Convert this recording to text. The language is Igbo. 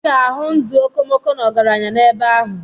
Ị ga-ahụ ndụ okomoko na ọgaranya n'ebe ahụ.